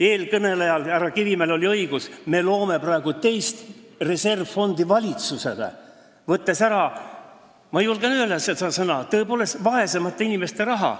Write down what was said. Eelkõnelejal härra Kivimäel on õigus: me loome praegu valitsusele teist reservfondi, võttes ära – ma julgen seda sõna kasutada – vaesemate inimeste raha.